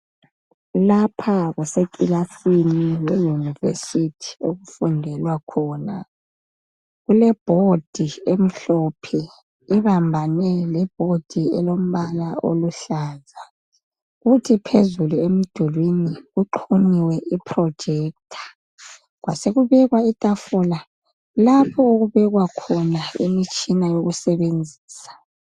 Lapha kuseclassini e university okufundelwa khona kukeboard emhlophe ebambane leboard e lombala oluhlaza kuthi phezulu emdulwini kuxhunyiwe projector kwasekusiba letafula lapho okubekwa khona imitshina yokusebenzisa